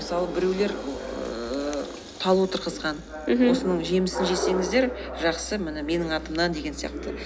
мысалы біреулер ііі тал отырғызған мхм осының жемісін жесеңіздер жақсы міне менің атынан деген сияқты